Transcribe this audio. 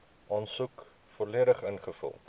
aansoek volledig ingevul